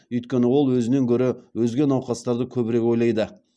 өйткені ол өзінен гөрі өзге науқастарды көбірек ойлайды